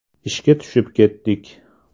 Ishga tushib ketdik.